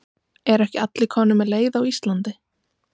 Eru ekki allir komnir með leið á Íslandi?